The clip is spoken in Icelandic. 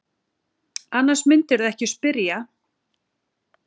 Annars mundirðu ekki spyrja.